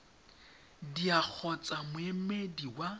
dea t kgotsa moemedi wa